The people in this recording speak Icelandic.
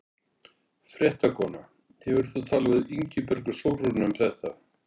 Fréttakona: Hefur þú talað við Ingibjörgu Sólrúnu um þetta?